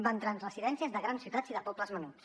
va entrar en residències de grans ciutats i de pobles menuts